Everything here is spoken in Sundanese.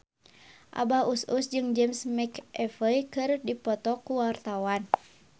Abah Us Us jeung James McAvoy keur dipoto ku wartawan